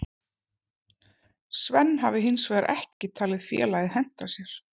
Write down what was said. Sven hafi hinsvegar ekki talið félagið henta sér.